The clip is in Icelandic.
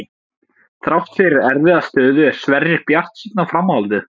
Þrátt fyrir erfiða stöðu er Sverrir bjartsýnn á framhaldið.